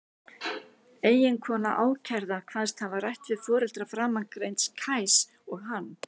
Eiginkona ákærða kvaðst hafa rætt við foreldra framangreinds Kajs og hann.